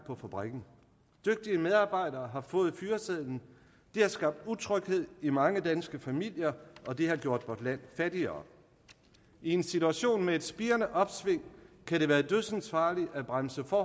på fabrikkerne dygtige medarbejdere har fået fyresedlen det har skabt utryghed i mange danske familier og det har gjort vort land fattigere i en situation med et spirende opsving kan det være dødsensfarligt at bremse for